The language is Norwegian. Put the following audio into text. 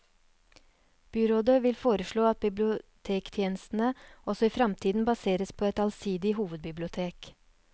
Byrådet vil foreslå at bibliotekstjenestene også i framtiden baseres på et allsidig hovedbibliotek.